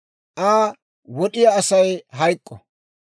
« ‹Asa wod'iyaa Asay hayk'k'o.